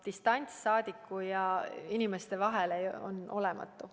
Distants rahvasaadikute ja inimeste vahel on olematu.